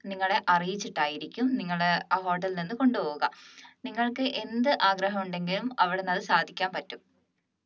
നിങ്ങളെ അറിയിച്ചിട്ട് ആയിരിക്കും നിങ്ങളെ ആ hotel ൽ നിന്ന് കൊണ്ടുപോവുക നിങ്ങൾക്ക് എന്ത് ആഗ്രഹമുണ്ടെങ്കിലും അവിടുന്ന് അത് സാധിക്കാൻ പറ്റും